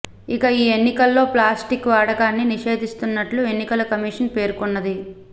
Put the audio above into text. ఇక ఈ ఎన్నికల్లో ప్లాస్టిక్ వాడకాన్ని నిషేదిస్తున్నట్టు ఎన్నికల కమీషన్ పేర్కొన్నది